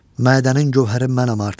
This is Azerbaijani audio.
Mədənin gövhəri mənəm artıq.